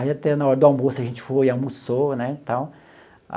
Aí até na hora do almoço a gente foi, almoçou né tal.